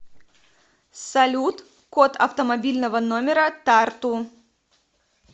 салют код автомобильного номера тарту